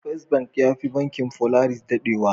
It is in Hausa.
First bank yafi banking Polaris dadewa.